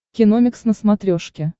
киномикс на смотрешке